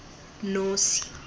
nosi